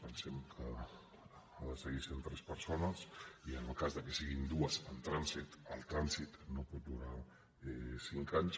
pensem que ha de seguir sent tres persones i en el cas que siguin dues en trànsit el trànsit no pot durar cinc anys